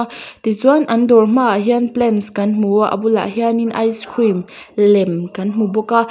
tichuan an dawr hmaah hian plants kan hmu a a bulah hian ice cream lem kan hmu bawk a.